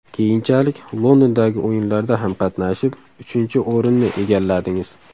Keyinchalik Londondagi O‘yinlarda ham qatnashib, uchinchi o‘rinni egalladingiz.